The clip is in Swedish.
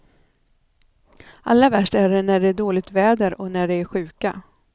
Allra värst är det när det är dåligt väder och när de är sjuka.